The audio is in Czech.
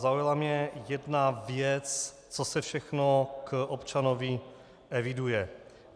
Zaujala mě jedna věc, co se všechno k občanovi eviduje.